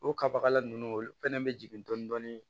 O kabagala ninnu olu fɛnɛ bɛ jigin dɔɔnin dɔɔnin